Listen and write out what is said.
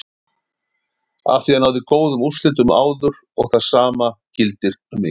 Afþví hann náði góðum úrslitum áður og það sama gildir um mig.